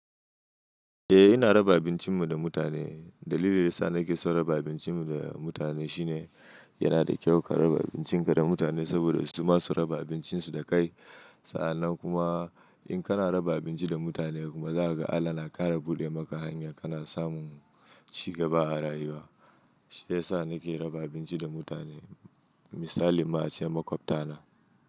Eh ina raba abincin mu da mutane. Dalilin da ya sa nake son raba abincin mu da mutane shine, yana da kyau ka raba abincin ka da mutane saboda su ma su raba abincin su da kai, Sa'an nan kuma, in kana raba abinci da mutane kuma, za ka ga Allah na ƙara buɗe maka hanyar kana samun cigaba a rayuwa. Shi ya sa nake raba abinci da mutane, Misali ma ace maƙwabta na.